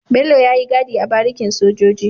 Bello yayi gadi a barikin sojoji